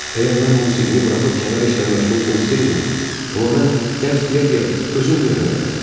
Əgər mən musiqini buraxıb kənar işlə məşğul olsaydım, amma mən dərs deyə-deyə özüm də öyrənirəm.